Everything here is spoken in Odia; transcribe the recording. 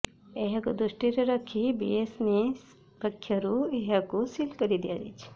ଏହାକୁ ଦୃଷ୍ଟିରେ ରଖି ବିଏମ୍ସି ପକ୍ଷରୁ ଏହାକୁ ସିଲ୍ କରିଦିଆଯାଇଛି